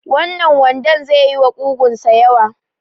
Wannan wandon ze yi wa ƙugun sa yawa